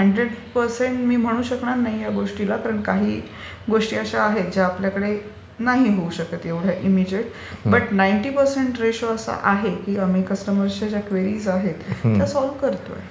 हा. Hundred percent मी म्हणू शकणार नाहीये या गोष्टीला कारण काही गोष्टी अशा आहेत ज्या आपल्याकडे नाही होऊ शकत एवढ्या इमिजिएट पण नाईण्टि पर्सेंट रेशो असा आहे आम्ही कस्टमर्सच्या ज्या क्वेरीज आहेत त्या सोल्व करतो.